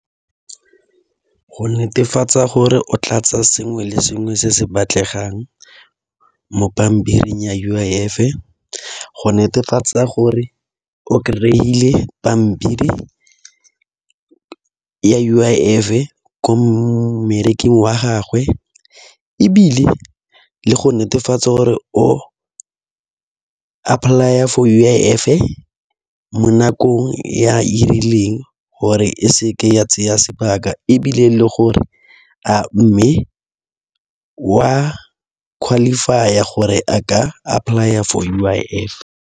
Go netefatsa gore o tlatsa sengwe le sengwe se se batlegang mo pampiring ya U_I_F. Go netefatsa gore o kry-ile pampiri ya U_I_F ko mmereking wa gagwe, ebile le go netefatsa gore o apply-a for U_I_F mo nakong ya e rileng gore e seke ya tseya sebaka. Ebile e le gore a mme wa qualify-a gore a ka apply-a for U_I_F.